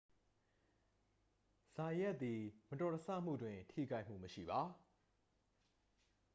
ဇိုင်ယတ်သည် မတော်တဆမှုတွင် ထိခိုက်မှုမရှိပါ